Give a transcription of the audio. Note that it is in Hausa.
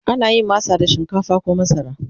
ana yin masa da shinkafa koh masara